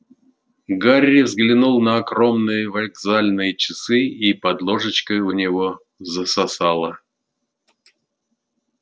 гарри взглянул на огромные вокзальные часы и под ложечкой у него засосало